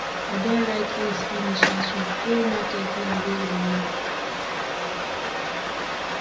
i don write list finish na to go market now wey remain